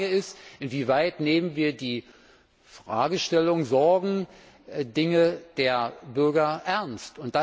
Die Frage ist Inwieweit nehmen wir die Fragestellungen, Sorgen und Anliegen der Bürger ernst.